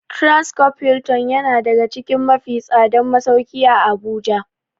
Transcorp Hilton yana daga cikin mafi tsadan masauki a habuja.